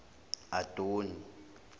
adoni